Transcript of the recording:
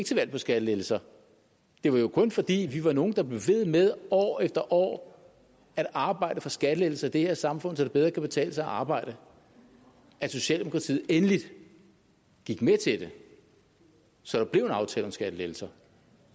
til valg på skattelettelser det var jo kun fordi vi var nogle der blev ved med år efter år at arbejde for skattelettelser i det her samfund så det bedre kan betale sig at arbejde at socialdemokratiet endelig gik med til det så der blev en aftale om skattelettelser